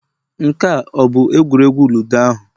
Nke a ọ bụ egwuregwu ludo ahụ